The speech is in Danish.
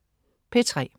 P3: